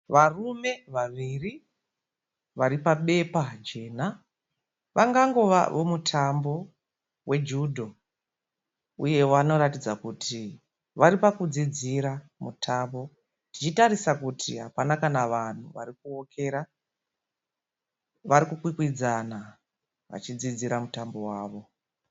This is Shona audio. Varume vaviri vari pabepa jena. Vangova vomutambo wejudho uye vanoratidza kuti vari pakudzidzira mutambo tichitarisa kuti hapana kana vanhu vari kuokera. Vari kukwikwidzana vachidzidzira mutambo wavo.